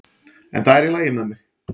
En það er í lagi með mig.